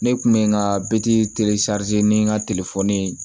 Ne kun bɛ n ka bititi ni n ka telefɔni ye